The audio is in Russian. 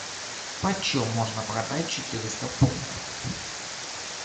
почем можно продать четыреста фунтов